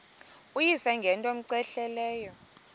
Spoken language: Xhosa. uyise ngento cmehleleyo